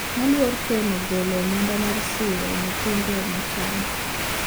Moluor ken ogolo omenda mar siro nyithindo mochany